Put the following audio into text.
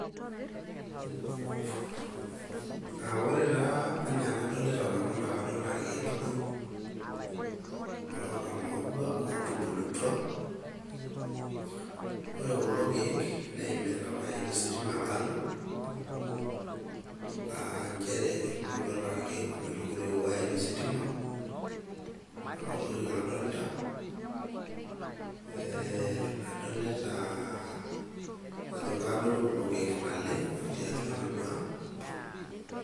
Aa ore taa enaa enadolita nanu naa kadolita irkieek adoru oota maua , otubulutua. Ore kulo kiek ,neimita ositima enkalo , aa nchere etubulutua taa irkieek ometogiroi iwayai ositima . Nena tokitin adolita ,ee adolita ajo kaadoru kulo kiek naleng otii atua enaduoo ang.